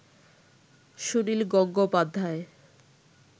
Sunil Gangopadhyay